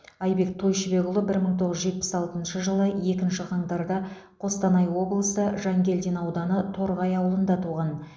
айбек тойшыбекұлы бір мың тоғыз жүз жетпіс алтыншы жылы екінші қаңтарда қостанай облысы жангелдин ауданы торғай ауылында туған